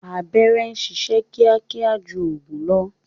Abẹ́rẹ́ ń sisẹ́ kíákíá ju ọ̀gùn lọ